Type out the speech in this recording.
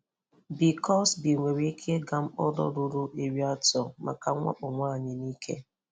Bill Cosby nwere ike ịga mkpọrọ ruru iri atọ maka mwakpo nwaanyị n'ike.